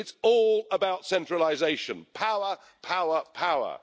But it's all about centralisation power, power, power.